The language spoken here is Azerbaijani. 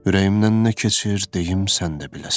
Ürəyimdən nə keçir deyim, sən də biləsən.